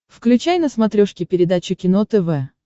включай на смотрешке передачу кино тв